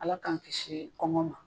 Ala k'an kisi kɔngɔ ma